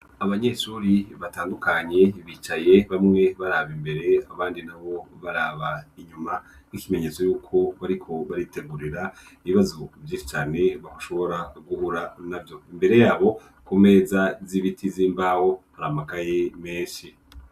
Abanyeshuri batandukanye, bicaye bamwe baraba imbere abandi na bo baraba inyuma, n'ikimenyetso y'uko bariko baritegurira ibibazo vyinshi cane, bashobora guhura navyo. Imbere yabo ku meza z'ibiti z'imbaho, hari amakaye menshi.